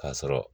K'a sɔrɔ